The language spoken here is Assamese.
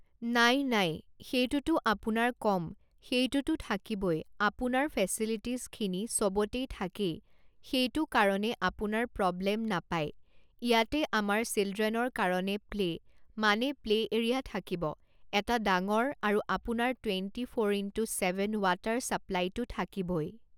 নাই নাই সেইটোতো আপোনাৰ কম সেইটোতো থাকিবই আপোনাৰ ফেছেলিটীছখিনি চবতেই থাকে সেইটো কাৰণে আপোনাৰ প্ৰৱ্লেম নাপায় ইয়াতে আমাৰ চিলড্ৰেনৰ কাৰণে প্লে' মানে প্লে' এৰিয়া থাকিব এটা ডাঙৰ আৰু আপোনাৰ twenty four into seven water চাপ্লাইটো থাকিবই